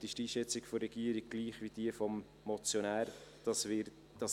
diesbezüglich ist die Einschätzung der Regierung gleich wie diejenige des Motionärs.